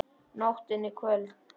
Nóttin er köld.